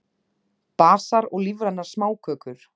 Basar og lífrænar smákökur